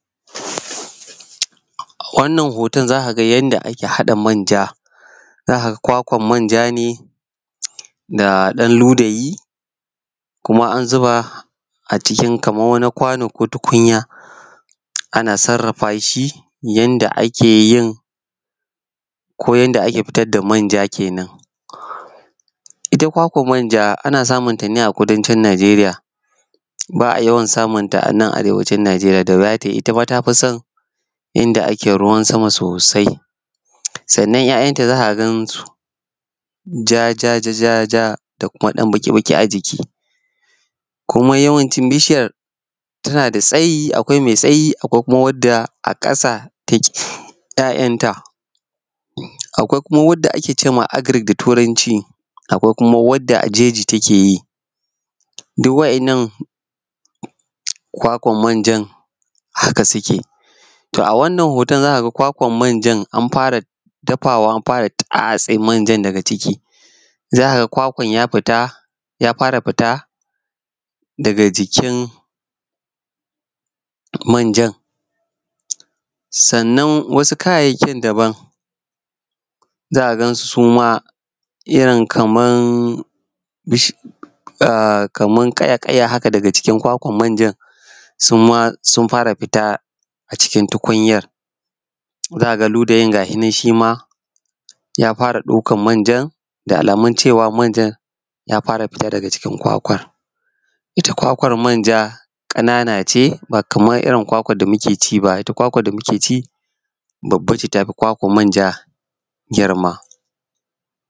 A wannan hoton za ka ga yadda ake haɗa manja, za ka ga kwakwar manja da ɗan ludayi kuma an zuba a cikin kamar wani kwano ko tukunya ana sarrafa shi yadda ake yin ko yadda ake dita da manja kenan. Ita kwakwar manja ana samunta ne a kudancin Nijeriya ba a yawan samun ta a nan Arewacin Nijeriya ita ma ta fi son in da ake ruwan sama sosai. Sannan 'ya'yanta za ka gansu ja ja ja da kuma ɗan baki-baƙi a jiki. Kuma yawancin bishiyar tana da tsayi akwai mai tsayi akwai wanda a ƙasa take yin 'ya'yanta da kuma wanda ake cewa agric da turanci, akwai kuma wadda a jeji take yi. Duk waɗannan kwakwar manjan haka suke. To a wannan hoton za ka ga kwakwar manjan an fara dafawa an fara tatse manjan daga ciki, za ka ga kwkwan ya fita ya fara fita daga jikin manjan. Sannan wasu kayayyakin daban za ka gansu su ma kamar irin bishiya kaya-ƙaya daga jikin kwakwar manja su ma sun fara fita cikin tukunyar za ka ga ludayin ga shi shi ma ya fara daukar manzan da aalamun manjan ya fara fita daga cikin kwakwar. Ita kwakwar manja ƙanana ce ba kamar irin kwakwar da muke ci ba. Kwalwar da muke ci babba ce ta fi kwakwar manja girma.